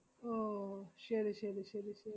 ഓ, ശെരി ശെരി ശെരി.